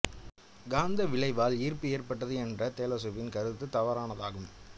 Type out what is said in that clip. காந்த விளைவால் ஈர்ப்பு ஏற்பட்டது என்ற தேலேசுவின் கருத்து தவறானதாகும்